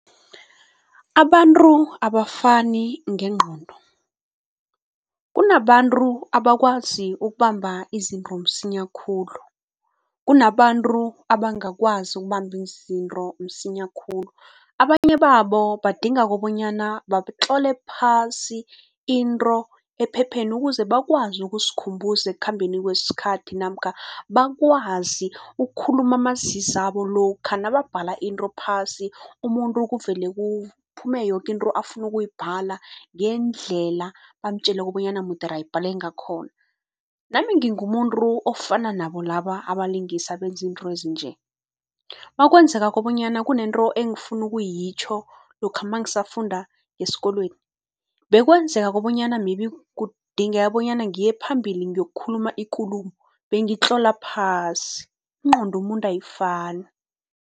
Abantu abafani ngengqondo. Kunabantu abakwazi ukubamba izinto msinya khulu, kunabantu abangakwazi ukubamba izinto msinya khulu. Abanye babo badinga kobonyana batlole phasi into ephepheni ukuze bakwazi ukuzikhumbuza ekukhambeni kwesikhathi namkha bakwazi ukukhuluma amazizabo. Lokha nababhala into phasi umuntu kuvele kuphume yoke into afuna ukuyibhadala ngendlela bamtjeleko bonyana mudere abhale ngakhona. Nami ngingumuntu ofana nabo laba abalingisi abenza izinto ezinje. Makwenzekako bonyana kunento engifuna ukuyitjho lokha mangisafunda esikolweni, bekwenzeka kobanyana maybe kudingeka bonyana ngiye phambili ngiyokukhuluma ikulumo, bengitlola phasi. Ingqondo yomuntu ayifani.